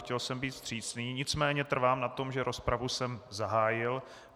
Chtěl jsem být vstřícný, nicméně trvám na tom, že rozpravu jsem zahájil.